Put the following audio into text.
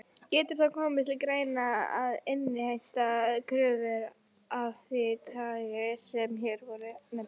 Getur þá komið til greina að innheimta kröfur af því tagi sem hér voru nefndar.